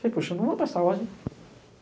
Falei, poxa, não vou prestar ordem.